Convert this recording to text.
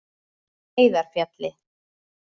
Heiðarfjalli